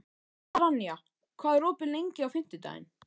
Naranja, hvað er opið lengi á fimmtudaginn?